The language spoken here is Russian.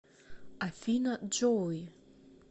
афина джоуи